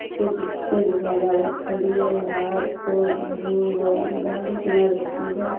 कुछ एक बा बाइक खड़ी है बाहर बाल्टियां रखी है।